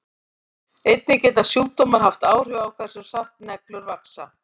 Einnig geta sjúkdómar haft áhrif á hversu hratt neglur vaxa.